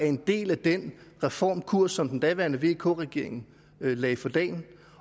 en del af den reformkurs som den daværende vk regering lagde for dagen